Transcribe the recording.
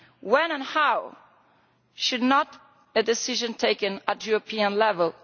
ʽWhen and howʼ should not be a decision taken at European level.